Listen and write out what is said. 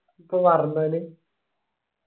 ഇപ്പോപറഞ്ഞാല്